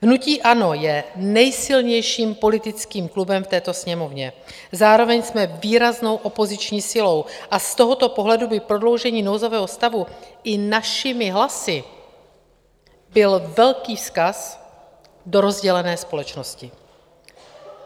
Hnutí ANO je nejsilnějším politickým klubem v této Sněmovně, zároveň jsme výraznou opoziční silou a z tohoto pohledu by prodloužení nouzového stavu i našimi hlasy byl velký vzkaz do rozdělené společnosti.